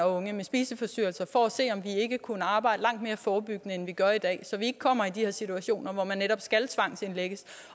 unge med spiseforstyrrelser for at se om vi ikke kunne arbejde langt mere forebyggende end vi gør i dag så vi ikke kommer i de her situationer hvor man netop skal tvangsindlægges